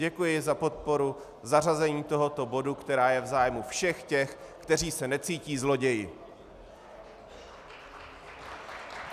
Děkuji za podporu zařazení tohoto bodu, který je v zájmu všech těch, kteří se necítí zloději.